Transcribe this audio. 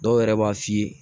Dɔw yɛrɛ b'a f'i ye